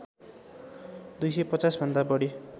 दुई सय पचाँस भन्दा बढी